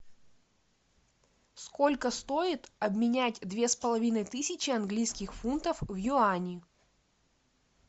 сколько стоит обменять две с половиной тысячи английских фунтов в юани